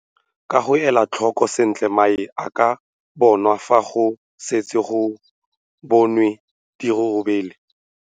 Ka go ela tlhoko sentle mae a ka bonwa fa go setswe go bonwe dirurubele.